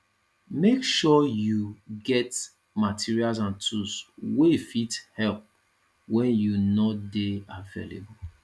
make sure you you get materials and tools wey fit help when you no de available